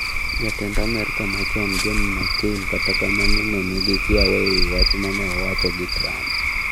Jatend Amerka machon John McCain kata kamano ne nigi kiawa ewi wach mane owacho gi Trump.